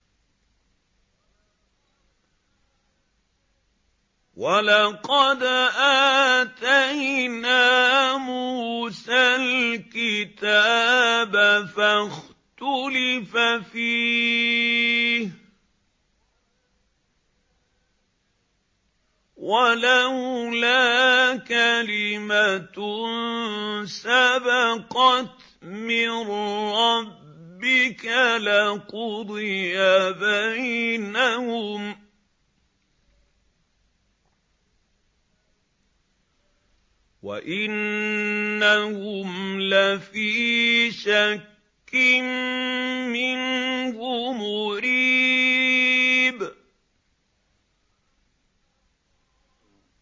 وَلَقَدْ آتَيْنَا مُوسَى الْكِتَابَ فَاخْتُلِفَ فِيهِ ۗ وَلَوْلَا كَلِمَةٌ سَبَقَتْ مِن رَّبِّكَ لَقُضِيَ بَيْنَهُمْ ۚ وَإِنَّهُمْ لَفِي شَكٍّ مِّنْهُ مُرِيبٍ